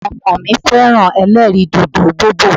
Àwọn ọmọ mi fẹ́ràn ẹlẹ́rìì dòdò bobò.